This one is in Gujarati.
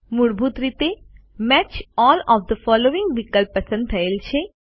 મૂળભૂત રીતે match all of the following વિકલ્પ પસંદ થયેલ છે